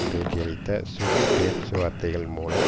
பேட்டியளித்த சுகி பேச்சுவார்த்தைகள் மூலம்